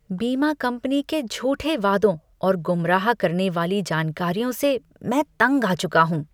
बीमा कंपनी के झूठे वादों और गुमराह करने वाली जानकारियों से मैं तंग आ चुका हूँ।